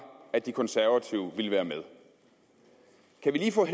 at de konservative ville være med kan vi lige få